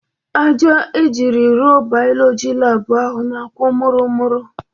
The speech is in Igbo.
Aja ejiri rụọ Bayọlọji laabụ ahụ na-akwụ mụrụ mụrụ.